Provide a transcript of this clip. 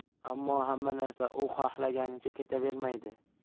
Ammo hamma narsa u xohlaganicha ketavermaydi.